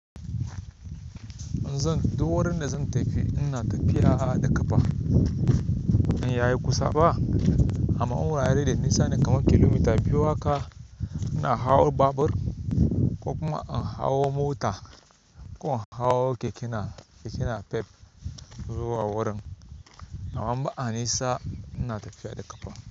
In zan duwaran da zan tafi ina tafiya da ƙafa in yayi kusa ba, amma wurare da nisa ne kamar kilomita biyu haka ina hawo babur ko kuma in hawo mota ko in hawo keke na pep zuwa wurin. Amma in ba a nisa ina tafiya da ƙafa.